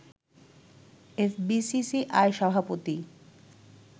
FBCCI সভাপতি